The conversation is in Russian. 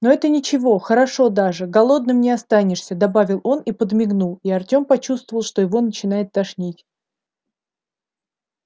но это ничего хорошо даже голодным не останешься добавил он и подмигнул и артем почувствовал что его начинает тошнить